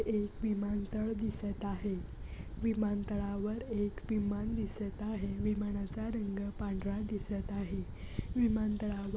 एक विमान तळ दिसत आहे विमान तळावर एक विमान दिसत आहे विमाना चा रंग पांढरा दिसत आहे विमानतळावर--